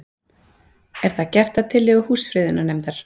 Er þetta gert að tillögu Húsafriðunarnefndar